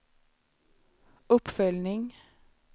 uppföljning